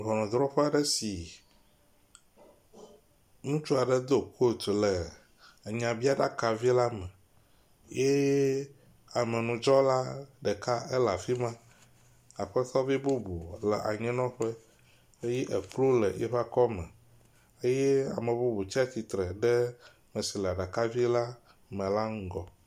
Ŋɔnudrɔƒe aɖe si ŋutsu aɖe do kot le enyabiaɖaka vi la me ye amenudzɔla ɖeka ele afi ma… le anyinɔƒe ye ekplu le eƒe akɔme. Eye ame bubu tsatsitre le ɖe ame si le aɖaka vi la me la ŋgɔ.